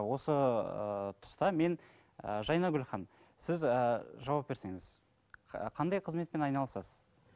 осы ыыы тұста мен ы жайнагүл ханым сіз ы жауап берсеңіз қандай қызметпен айналысасыз